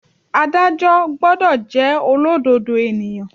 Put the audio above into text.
Ádájọ́ gbọ́dọ̀ jẹ́ olódodo ènìyàn.